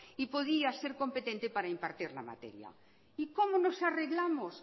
y podía ser competente para impartir la materia y como nos arreglamos